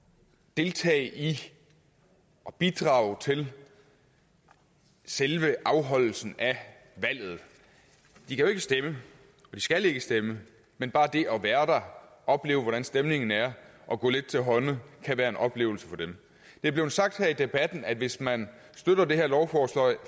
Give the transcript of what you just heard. deltage i og bidrage til selve afholdelsen af valget de kan jo ikke stemme de skal ikke stemme men bare det at være der og opleve hvordan stemningen er og gå lidt til hånde kan være en oplevelse for dem det er blevet sagt her i debatten at hvis man støtter det her lovforslag